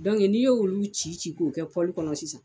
n'i y'o olu ci ci k'o kɛ kɔnɔ sisan